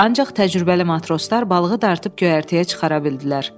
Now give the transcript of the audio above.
Ancaq təcrübəli matroslar balığı dartıb göyərtəyə çıxara bildilər.